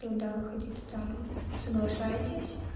то да выходите там соглашайтесь